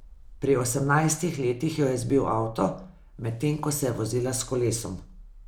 Pri osemnajstih letih jo je zbil avtomobil, medtem ko se je vozila s kolesom.